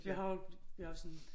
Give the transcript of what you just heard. Ja har jeg sådan